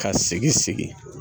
Ka sigi segin